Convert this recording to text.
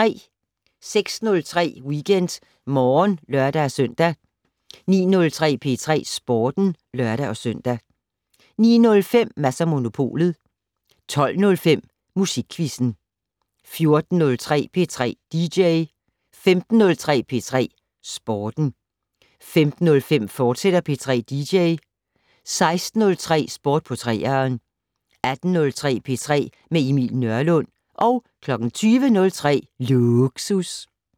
06:03: WeekendMorgen (lør-søn) 09:03: P3 Sporten (lør-søn) 09:05: Mads & Monopolet 12:05: Musikquizzen 14:03: P3 dj 15:03: P3 Sporten 15:05: P3 dj, fortsat 16:03: Sport på 3'eren 18:03: P3 med Emil Nørlund 20:03: Lågsus